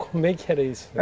Como é que era isso?